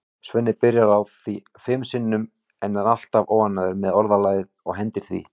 Svenni byrjar á því fimm sinnum en er alltaf óánægður með orðalagið og hendir því.